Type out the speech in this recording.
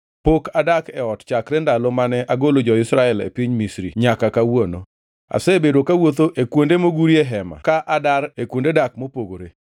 Pok adak e ot chakre ndalo mane agolo jo-Israel e piny Misri nyaka kawuono. Asebedo kawuotho e kuonde mogurie hema ka adar e kuonde dak mopogore.